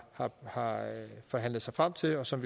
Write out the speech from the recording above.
har forhandlet sig frem til og som